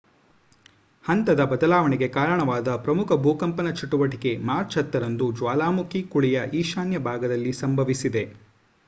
ಹಂತದ ಬದಲಾವಣೆಗೆ ಕಾರಣವಾದ ಪ್ರಮುಖ ಭೂಕಂಪನ ಚಟುವಟಿಕೆ ಮಾರ್ಚ್ 10 ರಂದು ಜ್ವಾಲಾಮುಖಿ ಕುಳಿಯ ಈಶಾನ್ಯ ಭಾಗದಲ್ಲಿ ಸಂಭವಿಸಿದೆ